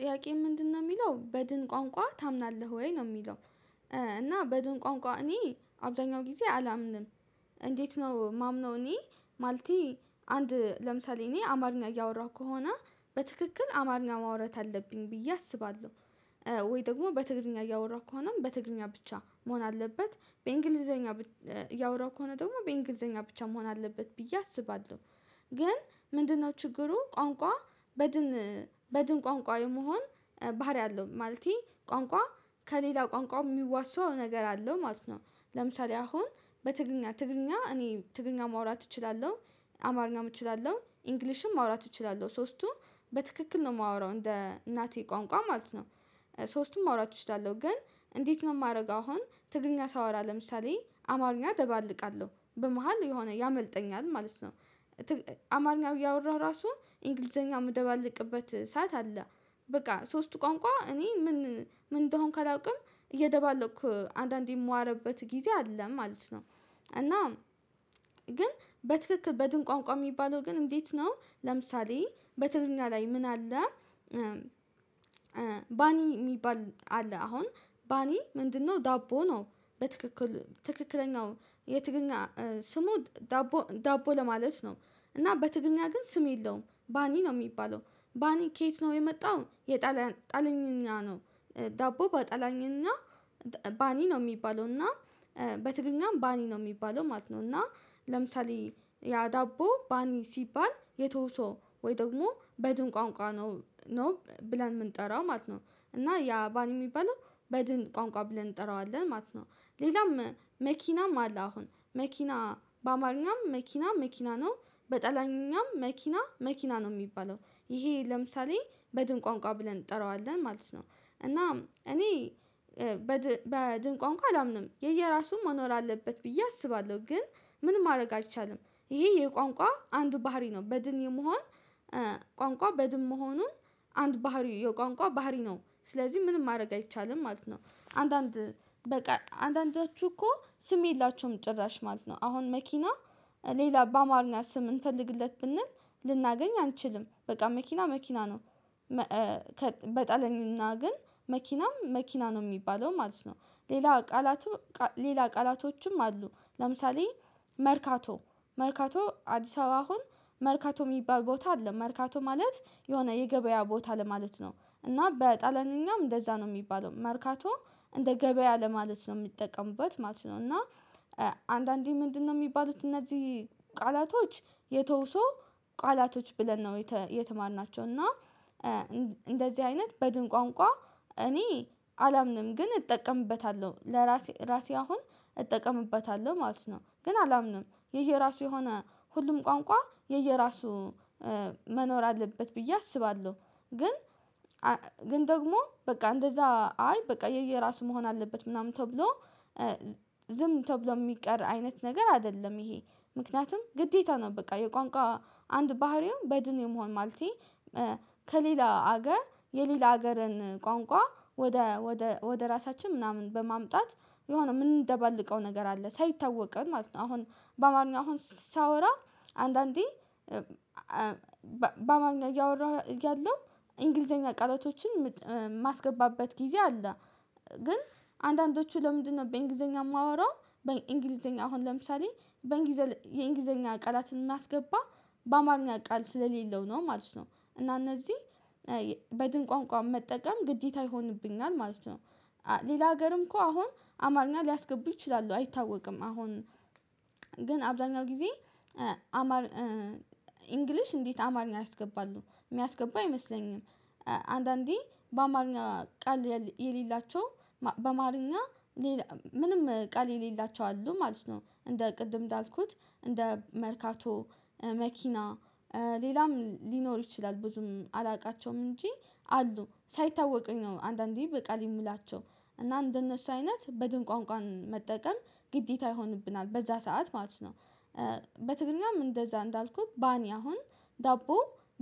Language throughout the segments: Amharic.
ጥያቄ ምንድነው የሚለው በድን ቋንቋ ታምናለህ ወይ? ነው የሚለው እና በድን ቋንቋ እኔ አብዛኛው ጊዜ አላምንም። እንዴት ነው የማምነው እኔ ማለቴ አንድ ለምሳሌ እኔ አማርኛ እያወራሁ ከሆነ በትክክል አማርኛ ማውረት አለብኝ ብዬ አስባለሁ። ወይ ደግሞ በትግርኛ እያወራሁ ከሆነም በትግርኛ ብቻ መሆን አለበት። በእንግሊዘኛ እያወራሁ ከሆነ ደግሞ በእንግሊዘኛ ብቻ መሆን አለበት ብዬ አስባለሁ። ግን ምንድነው ችግሩ ቋንቋ በድን በድን ቋንቋ የመሆን ባህሪ አለው። ማለቴ ቋንቋ ከሌላ ቋንቋው የሚዋሰው ነገር አለው ማለት ነው። ለምሳሌ አሁን በትግረኛ ትግረኛ እኔ ትግረኛ ማውራት እችላለሁ። አማርኛም እችላለሁ ኢንግሊሽም ማውራት እችላለሁ። ሶስቱም በትክክል ነው የማወራው እንደ እናቴ ቋንቋ ማለት ነው። ሶስቱም ማውራት እችላለሁ። ግን እንዴት ነው የማደርገው አሁን ትግርኛ ሳወራ ለምሳሌ አማርኛ ደባልቃለሁ። በመሃል የሆነ ያመልጠኛል ማለት ነው። አማርኛው እያወራሁ ራሱ እንግሊዘኛ ምደባልቅበት ሰዓት አለ። በቃ ሶስቱ ቋንቋ እኔ ምን ምን እንደሆንኩ አላውቅም እየደባለኩ አንዳንዴ የምዋረበት ጊዜ አለ ማለት ነው። እና ግን በትክክል በድን ቋንቋ የሚባለው ግን እንዴት ነው። ለምሳሌ በትግርኛ ላይ ምን አለ ባኒ የሚባል አለ። አሁን ባኒ ምንድነው ዳቦ ነው። በትክክል ትክክለኛው የትግርኛ ስሙ ዳቦ ዳቦ ለማለት ነው እና በትግርኛ ግን ስም የለውም ባኒ ነው የሚባለው። ባኒ ከየት ነው የመጣው የጣልያን ጣልያንኛ ነው። ዳቦ ባጣላያንኝኛ ባኒ ነው የሚባለው እና በትግርኛም ባኒ ነው የሚባለው ማለት ነው። እና ለምሳሌ ያ ዳቦ ባኒ ሲባል የተውሶ ወይ ደግሞ በድን ቋንቋ ነው ብለን የምንጠራው ማለት ነው እና ያ ባን የሚባለው በድን ቋንቋ ብለን እንጠራዋለን ማለት ነው። ሌላም መኪናም አለ አሁን መኪና በአማርኛም መኪና መኪና ነው በጠላያንኛም መኪና መኪና ነው የሚባለው። ይሄ ለምሳሌ በድን ቋንቋ ብለን እንጠራዋለን ማለት ነው። እና እኔ በድንቅ አንቋ አላምንም የየራሱም መኖር አለበት ብዬ አስባለሁ። ግን ምን ማድረግ አይቻልም ይሄ የየቋንቋ አንዱ ባህሪ ነው። በድን የመሆን ቋንቋ በድን መሆኑን አንድ ባህሪ የቋንቋ ባህሪ ነው። ስለዚህ ምንም ማድረግ አይቻልም ማለት ነው አንዳንድ በቃ አንዳንዳችሁ እኮ ስም የላቸውም ጭራሽ ማለት ነው። አሁን መኪና ሌላ በአማርኛ ስም እንፈልግለት ብንል ልናገኝ አንችልም። በቃ መኪና መኪና ነው። መ ከ በጣልያንኛ ግን መኪናም መኪና ነው የሚባለው ማለት ነው። ሌላ ቃላትም ቃ ሌላ ቃላቶችም አሉ ለምሳሌ መርካቶ መርካቶ አዲስ አበባ አሁን መርካቶ የሚባል ቦታ አለ። መርካቶ ማለት የሆነ የገበያ ቦታ ለማለት ነው እና በጣሊያንኛም እንደዛ ነው የሚባለው። መርካቶ እንደ ገበያ ለማለት ነው የሚጠቀሙበት ማለት ነው። እና አንዳንዴ ምንድነው የሚባሉት እነዚህ ቃላቶች የተውሶ ቃላቶች ብለን ነው የተማርናቸው። እና እንደዚህ አይነት በድን ቋንቋ እኔ አላምንም ግን እጠቀምበታለሁ። ለራሴ ራሴ አሁን እጠቀምበታለሁ ማለት ነው ግን አላምንም የየራሱ የሆነ ሁሉም ቋንቋ የየራሱ መኖር አለበት ብዬ አስባለሁ። ግን ግን ደግሞ በቃ እንደዛ አይ በቃ የየራሱ መሆን አለበት ምናምን ተብሎ ዝም ተብሎ የሚቀር አይነት ነገር አይደለም። ይሄ ምክንያቱም ግዴታ ነው በቃ የቋንቋ አንድ ባህሪው በድን የመሆን ማለቴ ከሌላ ሀገር የሌላ ሀገርን ቋንቋ ወደ ወደ ወደ ራሳችን ምናምን በማምጣት የሆነ የምንደባልቀው ነገር አለ ሳይታወቀን ማለት ነው። አሁን በአማርኛ አሁን ሳወራ አንዳንዴ በአማርኛ እያወራሁ እያለው እንግሊዘኛ ቃላቶችን የማስገባበት ጊዜ አለ። ግን አንዳንዶቹ ለምንድነው በእንግሊዘኛ የማወራው በእንግሊዘኛ አሁን ለምሳሌ በእንግሊዘኛ የእንግሊዘኛ ቃላትን ማስገባ በአማርኛ ቃል ስለሌለው ነው ማለት ነው። እና እነዚህ በድን ቋንቋ መጠቀም ግዴታ ይሆንብኛል ማለት ነው። ሌላ ሀገርም እኮ አሁን አማርኛ ሊያስገቡ ይችላሉ አይታወቅም። አሁን ግን አብዛኛው ጊዜ አማር ኢንግሊሽ እንዴት አማርኛ ያስገባሉ የሚያስገቡ አይመስለኝም። አንዳንዴ በአማርኛ ቃል የለ የሌላቸው በማርኛ ሌላ ምንም ቃል የሌላቸው አሉ ማለት ነው። እንደ ቅድም እንዳልኩት እንደ መርካቶ፣ መኪና ሌላም ሊኖር ይችላል ብዙም አላውቃቸውም እንጂ አሉ ሳይታወቀኝ ነው አንዳንዴ በቃል የምላቸው እና እንደነሱ አይነት በድን ቋንቋ መጠቀም ግዴታ ይሆንብናል በዛ ሰዓት ማለት ነው። በትግርኛም እንደዛ እንዳልኩት ባኒ አሁን ዳቦ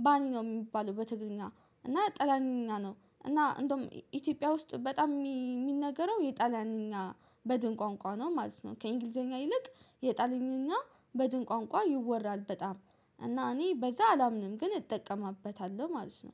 ባኒ ነው የሚባለው በትግልኛ እና ጣሊያንኛ ነው እና እንደውም ኢትዮጵያ ውስጥ በጣም የሚነገረው የጣሊያንኛ በድን ቋንቋ ነው ማለት ነው። ከእንግሊዘኛ ይልቅ የጣሊያንኛ በድን ቋንቋ ይወራል በጣም እና እኔ በዛ አላምንም ግን እጠቀምበታለሁ ማለት ነው።